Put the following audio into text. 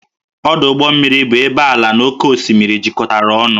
Ọdụ ụgbọ mmiri bụ ebe ala na oké osimiri jikọtara ọnụ